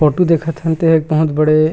photo देखत हन तेहा एक बहुत बड़े--